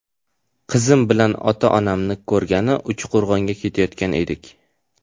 Qizim bilan ota-onamni ko‘rgani Uchqo‘rg‘onga ketayotgan edik.